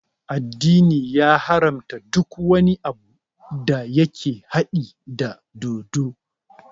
Addini ya haramta duk wani abu da yake haɗi da dodo